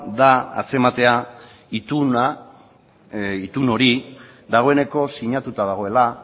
da antzematea itun hori dagoeneko sinatuta dagoela